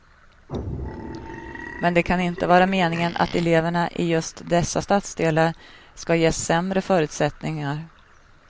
Men det kan inte vara meningen att eleverna i just dessa stadsdelar ska ges sämre förutsättningar.